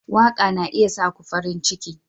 Waka na iya sa ku farin ciki.